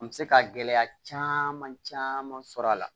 An bɛ se ka gɛlɛya caman caman sɔrɔ a la